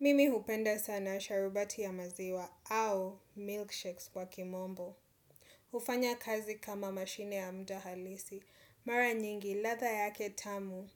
Mimi hupenda sana sharubati ya maziwa au milkshakes kwa kimombo. Hufanya kazi kama mashine ya muda halisi. Mara nyingi ladha yake tamu